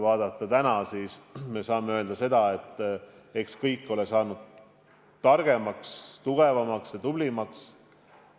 Samas saame täna öelda, et eks kõik ole saanud targemaks, tugevamaks ja tublimaks.